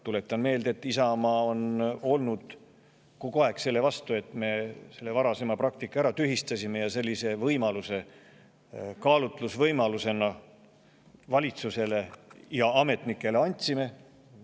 Tuletan meelde, et Isamaa on olnud kogu aeg selle vastu, et me selle varasema praktika tühistasime ja sellise kaalutlusvõimaluse valitsusele ja ametnikele andsime.